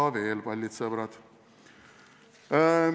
Aga veel, kallid sõbrad!